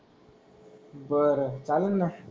बर चाललं ना.